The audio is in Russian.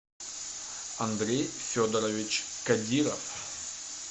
андрей федорович кадиров